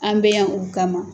An bɛ yan u kama.